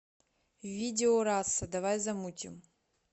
видео раса давай замутим